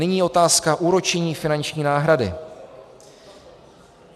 Nyní otázka úročení finanční náhrady.